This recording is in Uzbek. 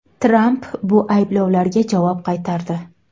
Tramp bu ayblovlarga javob qaytardi.